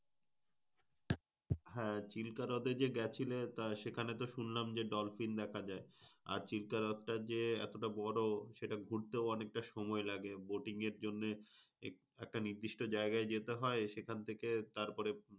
হ্যাঁ চিল্কাহ্রদ গেছিলে সেখানে তো শুনলাম যে dolphin দেখা যায়। আর চিল্কাহ্রদ হচ্ছে যে এতবড় সেটা ঘুরতে অনেকটা সময় লাগে। boating এর জন্যে একটা নিদিষ্ট যায়গায় যেতে হয় সেখান থেকে তারপরে,